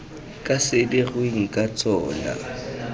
ka se dirweng ka tsona